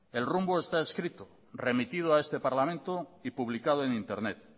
el rumbo está escrito remitido a este parlamento y publicado en internet